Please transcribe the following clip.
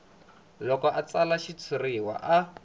loko a tsala xitshuriwa a